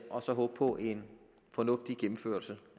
og så håbe på en fornuftig gennemførelse